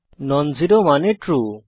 নন zero মানে true